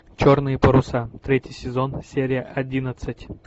черные паруса третий сезон серия одиннадцать